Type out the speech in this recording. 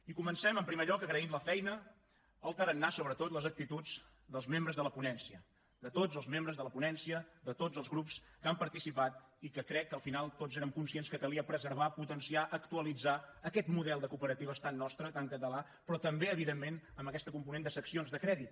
i comencem en primer lloc agraint la feina el tarannà sobretot les actituds dels membres de la ponència de tots els membres de la ponència de tots els grups que hi han participat i crec que al final tots érem conscients que calia preservar potenciar actualitzar aquest model de cooperatives tan nostre tan català però també evidentment amb aquesta component de seccions de crèdit